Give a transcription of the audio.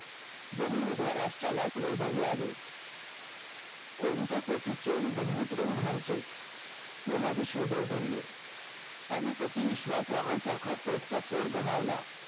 जणू उभ्या राष्ट्राला वैभाग्य आले कोणत्या पोटीच बंधुत्व प्रेम म्हणायचे यमाजी शिवदेव बोलले पानिपती विश्वासरावासारखा पोटचा पोर गमावला